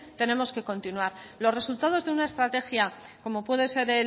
tenemos que continuar los resultados de una estrategia como puede ser